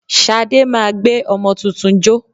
Ṣadé máa gbé ọmọ tuntun jó